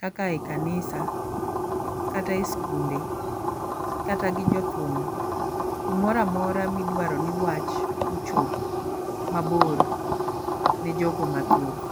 kaka yi kanisa kate skunde kata gi jothum. Kumoramora midwaro ni wach ochop mabor ne jogo mathoth.